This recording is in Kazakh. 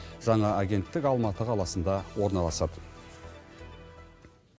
жаңа агенттік алматы қаласында орналасады